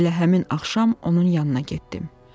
Elə həmin axşam onun yanına getdim.